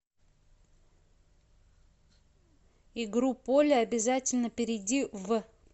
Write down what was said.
игру поле обязательно перейди в